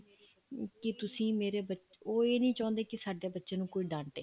ਅਮ ਕੀ ਤੁਸੀਂ ਮੇਰੇ ਉਹ ਇਹ ਨੀ ਚਾਹੁੰਦੇ ਕੀ ਸਾਡੇ ਬੱਚੇ ਨੂੰ ਕੋਈ ਡਾਂਟੇ